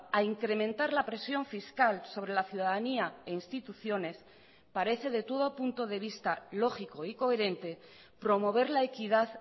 a incrementar la presión fiscal sobre la ciudadanía e instituciones parece de todo punto de vista lógico y coherente promover la equidad